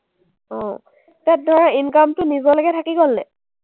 অ, এতিয়া ধৰা income টো নিজলেকে থাকি গ’ল নাই?